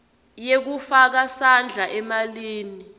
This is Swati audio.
yekufaka sandla emalini